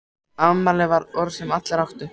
Afmæli var orð sem allir áttu.